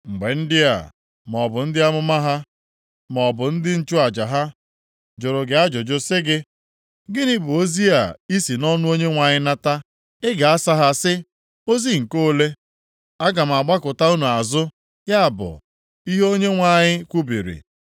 “Mgbe ndị a, maọbụ ndị amụma ha, maọbụ ndị nchụaja ha, jụrụ gị ajụjụ sị gị, ‘Gịnị bụ ozi i si nʼọnụ Onyenwe anyị nata?’ Ị ga-asa ha sị, ‘Ozi nke ole? + 23:33 Akwụkwọ ụfọdụ na-asị, unu onwe unu bụ isi okwu ya Aga m agbakụta unu azụ, ya bụ ihe Onyenwe anyị kwubiri.’